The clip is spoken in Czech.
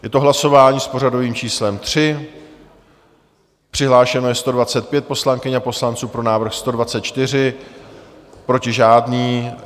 Je to hlasování s pořadovým číslem 3, přihlášeno je 125 poslankyň a poslanců, pro návrh 124, proti žádný.